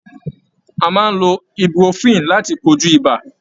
A maá ń lo Ibuprofen láti kojú ibà.